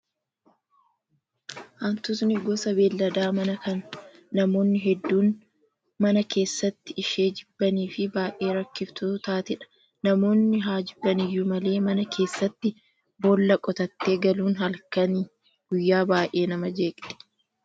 Hantuutni gosa beellada manaa kan namoonni hedduun mana keessatti ishee jibbanii fi baay'ee rakkiftuu taatedha. Namoonni haa jibban iyyuu malee mana keessatti boolla qotattee galuun halkanii guyyaa baay'ee nama jeeqxi.